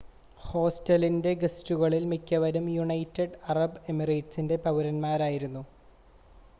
ഹോസ്റ്റലിൻ്റെ ഗസ്റ്റുകളിൽ മിക്കവരും United Arab എമിറേറ്റ്സിലെ പൗരന്മാരായിരുന്നു